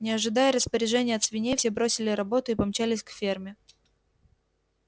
не ожидая распоряжений от свиней все бросили работу и помчались к ферме